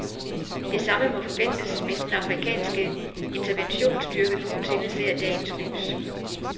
Det samme må forventes, hvis den afrikanske interventionsstyrke nogensinde ser dagens lys.